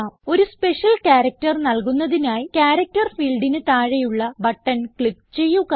ഒരു special character നൽകുന്നതിനായി character ഫീൽഡിന് താഴെയുള്ള ബട്ടൺ ക്ലിക്ക് ചെയ്യുക